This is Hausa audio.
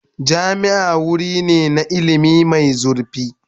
Jami'a wuri ne na ilimi mai zurfi.